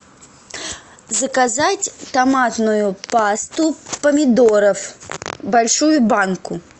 заказать томатную пасту помидоров большую банку